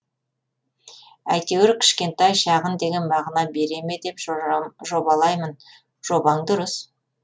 әйтеуір кішкентай шағын деген мағына бере ме деп жобалаймын жобаң дұрыс